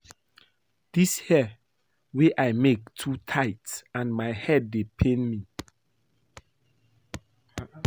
Dis hair wey I make too tight and my head dey pain me